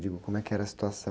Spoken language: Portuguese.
Digo, como é que era a situação?